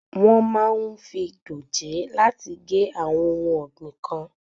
Wọ́n máa ń fi dòjé láti gé àwọn ohun ọ̀gbìn kan.